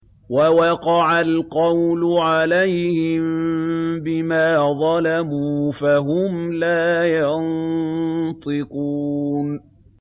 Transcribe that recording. وَوَقَعَ الْقَوْلُ عَلَيْهِم بِمَا ظَلَمُوا فَهُمْ لَا يَنطِقُونَ